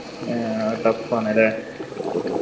ആഹ് tough ആണല്ലേ